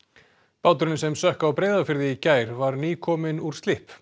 báturinn sem sökk á Breiðafirði í gær var nýkominn úr slipp